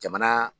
Jamana